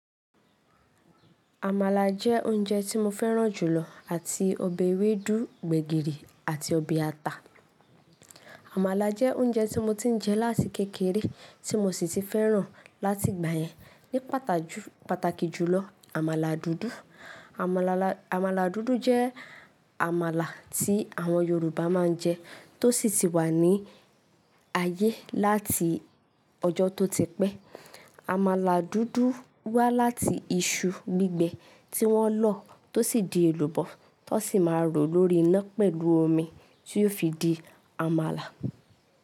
Amala jẹ́ oúnjẹ tí mo fẹ́ràn jù lọ àti ọbẹ̀ ewédú, gbẹ̀gìrì àti ọbẹ̀ ata. Amala jẹ́ oúnjẹ tí mo ti ń jẹ láti kékeré tí mo sì ti fẹ́ràn láti ìgbà yẹn. Ní pàtàkì jùlọ amala dúdú. Amala dúdú jẹ́ àmàlà tí àwọn Yoruba máa ń jẹ tó sì ti wà ní ayé láti ọjọ́ tó ti pẹ́. Amala dúdú wá láti iṣu gbígbẹ tí wọ́n lọ tó sì di èlùbọ́ tó sì máa rọ̀ lórí iná pẹ̀lú omi tí yiò fi di àmàlà.